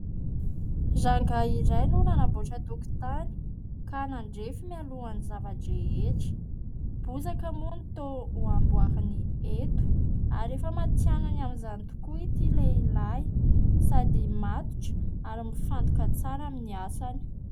Rangahy iray no nanamboatra tokotany ka nandrefy mialohan'ny zava-drehetra. Bozaka moa no toa hamboariny eto ary efa matihanina amin'izany tokoa itỳ lehilahy sady matotra ary mifantoka tsara amin'ny asany.